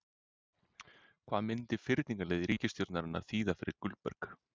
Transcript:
Hvað myndi fyrningarleið ríkisstjórnarinnar þýða fyrir Gullberg?